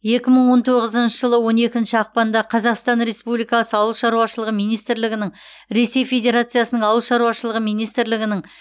екі мың он тоғызыншы жылы он екінші ақпанда қазақстан республикасы ауыл шаруашылығы министрлігінің ресей федерациясының ауыл шаруашылығы министрлігінің